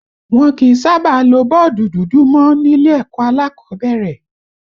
Wọn kì í sábà lo bọ́ọ̀dù dúdú mọ nílé ẹ̀kọ́ alákọ̀ọ́bẹ̀rẹ̀